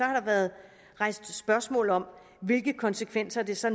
har der været rejst spørgsmål om hvilke konsekvenser det så